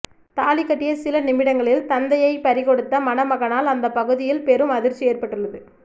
தாலி கட்டிய சில நிமிடங்களில் தந்தையைப் பறிகொடுத்த மணமகனால் அந்த பகுதியில் பெரும் அதிர்ச்சி ஏற்பட்டுள்ளது